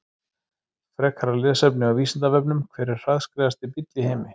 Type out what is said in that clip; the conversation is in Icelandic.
Frekara lesefni á Vísindavefnum: Hver er hraðskreiðasti bíll í heimi?